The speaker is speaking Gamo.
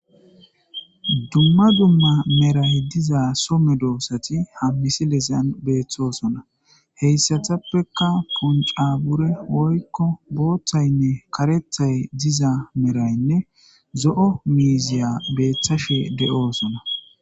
Dumma dumma Medhay diza soo medosati ha misilezan beeti utidosona , hesappe puncabure woy boothanne karethay dizayne zo'o miziya betashe de'osona .